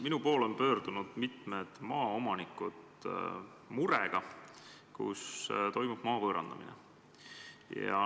Minu poole on pöördunud mitmed maaomanikud murega, mis on seotud maa võõrandamisega.